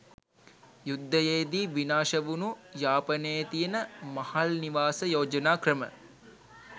යුද්ධයේදී විනාශ වුණු යාපනයේ තියෙන මහල් නිවාස යෝජනාක්‍රම